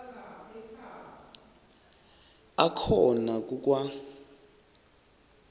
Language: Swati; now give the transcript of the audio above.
akhona ku kwa